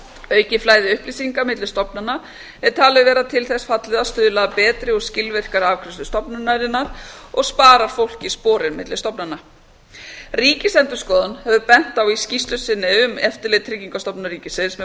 aukið flæði upplýsinga milli stofnana er talið vera til þess fallið að stuðla að betri og skilvirkari afgreiðslu stofnunarinnar og sparar fólki sporin milli stofnana ríkisendurskoðun hefur bent á í skýrslu sinni um eftirlit tryggingastofnunar ríkisins með